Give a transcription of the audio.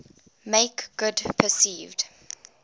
make good perceived